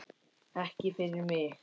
Ekki fyrir mig!